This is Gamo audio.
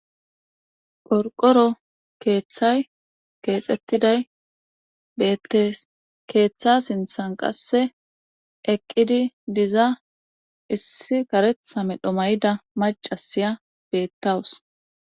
phorqoro keeththay keexettiday beettees keeththa sinthan qasse eqqidi diza issi karethame dhomayida macasiya beettawus